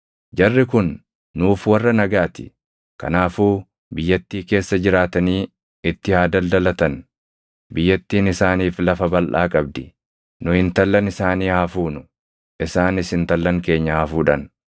“Jarri kun nuuf warra nagaa ti; kanaafuu biyyattii keessa jiraatanii itti haa daldalatan. Biyyattiin isaaniif lafa balʼaa qabdi; nu intallan isaanii haa fuunu; isaanis intallan keenya haa fuudhan.